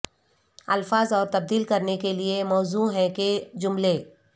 الفاظ اور تبدیل کرنے کے لئے موزوں ہیں کہ جملے